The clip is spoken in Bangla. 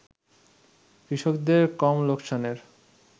কৃষকদের কম লোকসানের